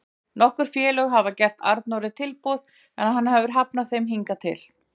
Nokkur félög hafa gert Arnóri tilboð en hann hefur hafnað þeim hingað til.